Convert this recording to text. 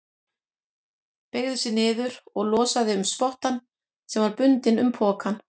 Beygði sig niður og losaði um spottann sem var bundinn um pokann.